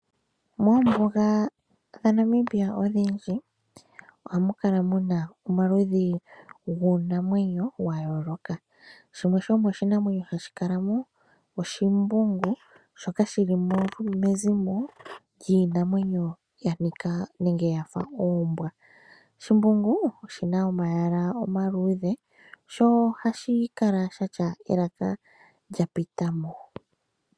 Moombuga dhaNamibia odhindji ohamu kala muna omaludhi guunamwenyo wa yoolaka. Shimwe sho oshinamwenyo hashi kala mo , oshimbungu shoka shilomo mezimo lyiinamwenyo yanika yafa oombwa. Shimbungu oshina omayala omaluudhe ,sho ohashi kala shatya elaka lya pitamo.